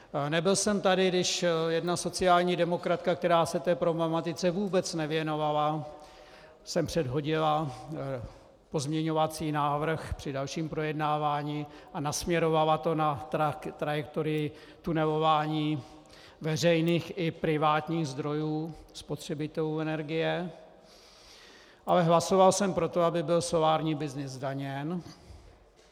Nebyl jsem tady, když jedna sociální demokratka, která se té problematice vůbec nevěnovala, sem předhodila pozměňovací návrh při dalším projednávání a nasměrovala to na trajektorii tunelování veřejných i privátních zdrojů, spotřebitelů energie, ale hlasoval jsem pro to, aby byl solární byznys zdaněn.